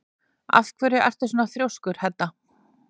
Af hverju ertu svona þrjóskur, Hedda?